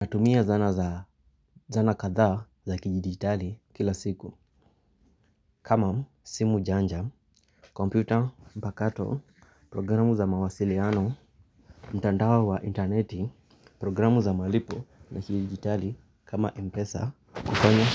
Natumia zana katha za kijidigitali kila siku kama simu janja, kompyuta, mpakato, programu za mawasiliano, mtandawa wa interneti, programu za malipo na kijidigitali kama mpesa kufanya